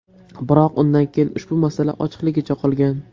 Biroq undan keyin ushbu masala ochiqligicha qolgan.